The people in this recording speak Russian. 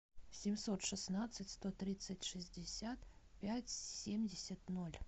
семьсот шестнадцать сто тридцать шестьдесят пять семьдесят ноль